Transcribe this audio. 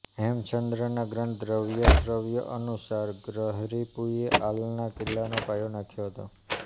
હેમચંદ્રના ગ્રંથ દવ્યશ્રય અનુસાર ગ્રહરિપુએ હાલના કિલ્લાનો પાયો નાખ્યો હતો